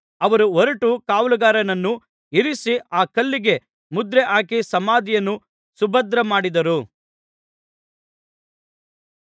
ಅವರು ಹೊರಟು ಕಾವಲುಗಾರರನ್ನು ಇರಿಸಿ ಆ ಕಲ್ಲಿಗೆ ಮುದ್ರೆಹಾಕಿ ಸಮಾಧಿಯನ್ನು ಸುಭದ್ರಮಾಡಿದರು